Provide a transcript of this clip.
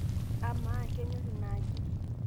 amaa kenyor inaaji?